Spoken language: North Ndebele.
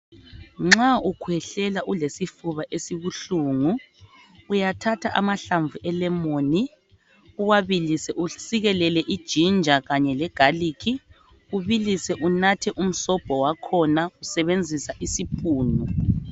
Nxa ukhwehlela ulesifuba esibuhlungu uyathatha amahlamvu elemoni uwabilise usikelele iginjer kanye legarlic ubilise unathe umsobho wakhona usebenzisa isipunu.